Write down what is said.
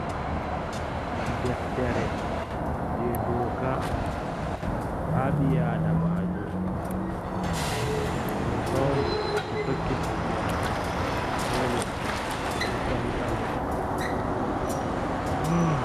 Deftere jei dooka ha ɓi adamajo doka on to tokki dou ɓi adamajo dole ɓe hukantamo.